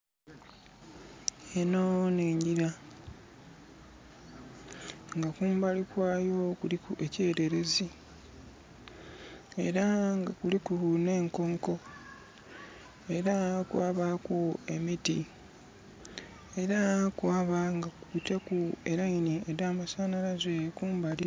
Enho nh'engila nga kumbali kwayo kuliku ekyererezi era nga kuliku nh'enkonko, era kwabaku nh'emiti, era kwaba nga kubitaku e leini dha masanhalaze kumbali.